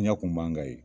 Diɲɛ kun b'an ka ye